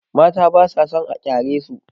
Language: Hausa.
Mata ba sa son a kyaresu.